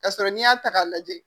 Ka sɔrɔ n'i y'a ta k'a lajɛ